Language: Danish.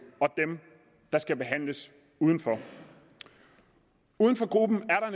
og dem der skal behandles udenfor uden for gruppen er